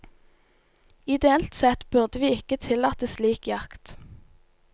Ideelt sett burde vi ikke tillate slik jakt.